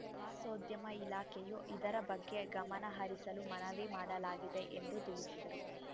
ಪ್ರವಾಸೋದ್ಯಮ ಇಲಾಖೆಯೂ ಇದರ ಬಗ್ಗೆ ಗಮನಹರಿಸಲು ಮನವಿ ಮಾಡಲಾಗಿದೆ ಎಂದು ತಿಳಿಸಿದರು